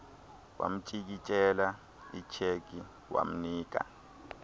wamtyikityela icheque wamnika